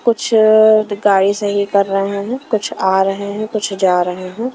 कुछ गाड़ी सही कर रहे हैं। कुछ आ रहे हैं कुछ जा रहे हैं।